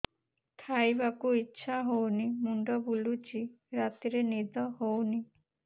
ଖାଇବାକୁ ଇଛା ହଉନି ମୁଣ୍ଡ ବୁଲୁଚି ରାତିରେ ନିଦ ହଉନି